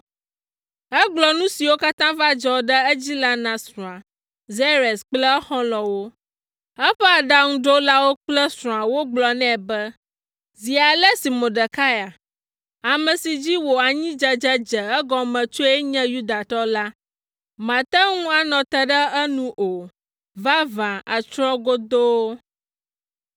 Egblɔ nu siwo katã va dzɔ ɖe edzi la na srɔ̃a, Zeres kple exɔlɔ̃wo. Eƒe aɖaŋuɖolawo kple srɔ̃a wogblɔ nɛ be, “Zi ale si Mordekai, ame si dzi wò anyidzedze dze egɔme tsoe nye Yudatɔ la, màte ŋu anɔ te ɖe enu o; vavã àtsrɔ̃ godoo!”